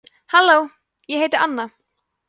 halló ég heiti anna